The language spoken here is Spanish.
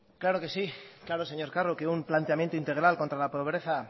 claro que sí claro señor carro que un planteamiento integral contra la pobreza